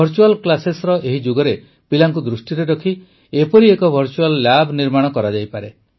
virtual କ୍ଲାସେସର ଏହି ଯୁଗରେ ପିଲାଙ୍କୁ ଦୃଷ୍ଟିରେ ରଖି ଏପରି ଏକ ଭର୍ଚୁଆଲ୍ ଲ୍ୟାବ୍ ନିର୍ମାଣ କରାଯାଇପାରେ